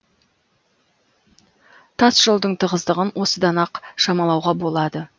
тас жолдың тығыздығын осыдан ақ шамалауға болады